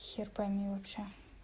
хер пойми вообще